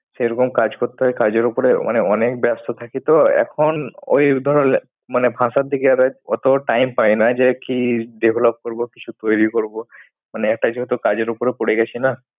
সেরকম কাজ করতে হয় কাজের ওপরে মানে অনেক ব্যস্ত থাকি তো। এখন ওই ধরনের মানে ভাষার দিকে অত time পাই না। যে কি develop করব, কিছু তৈরি করব। মানে একটা যেহেতু কাজের ওপরে পড়েগেছি না।